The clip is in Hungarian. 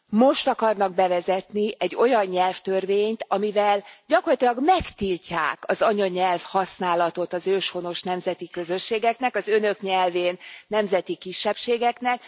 Most akarnak bevezetni egy olyan nyelvtörvényt, amivel gyakorlatilag megtiltják az anyanyelvhasználatot az őshonos nemzeti közösségeknek, az Önök nyelvén nemzeti kisebbségeknek.